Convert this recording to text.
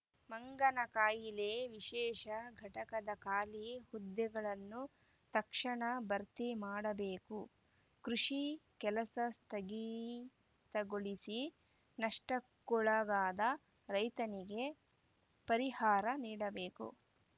ಮಂಗನ ಕಾಯಿಲೆ ವಿಶೇಷ ಘಟಕದ ಖಾಲಿ ಹುದ್ದೆಗಳನ್ನು ತಕ್ಷಣ ಭರ್ತಿ ಮಾಡಬೇಕು ಕೃಷಿ ಕೆಲಸ ಸ್ಥಗಿತಗೊಳಿಸಿ ನಷ್ಟಕ್ಕೊಳಗಾದ ರೈತನಿಗೆ ಪರಿಹಾರ ನೀಡಬೇಕು